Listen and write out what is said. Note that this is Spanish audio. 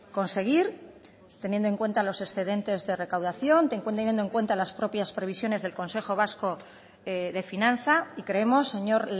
conseguir teniendo en cuenta los excedente de recaudación teniendo en cuenta las propias previsiones del consejo vasco de finanza y creemos señor